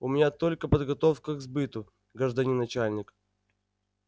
у меня только подготовка к сбыту гражданин начальник